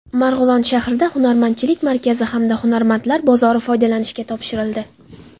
Marg‘ilon shahrida Hunarmandchilik markazi hamda Hunarmandlar bozori foydalanishga topshirildi.